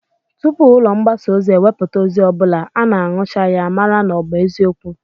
Tupu ụlọ mgbasa ozi ewepụta ozi ọ bụla, a na-aṅụcha ya, mara na ọ bụ eziokwu